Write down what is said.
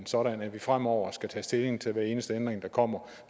sådan at vi fremover skal tage stilling til hver eneste ændring der kommer